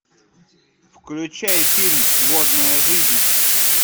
включай фильм водная жизнь